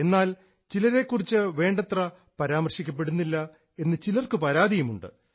എന്നാൽ ചിലരെ കുറിച്ച് വേണ്ടത്ര പരാമർശിക്കപ്പെടുന്നില്ല എന്ന് ചിലർക്ക് പരാതിയുമുണ്ട്